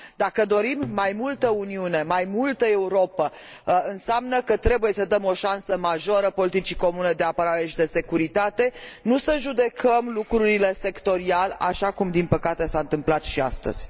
Dacă dorim mai multă Uniune, mai multă Europă, înseamnă că trebuie să dăm o șansă majoră politicii de securitate și de apărare comune, nu să judecăm lucrurile sectorial, așa cum, din păcate, s a întâmplat și astăzi.